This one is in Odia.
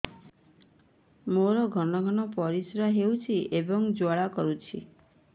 ମୋର ଘନ ଘନ ପରିଶ୍ରା ହେଉଛି ଏବଂ ଜ୍ୱାଳା କରୁଛି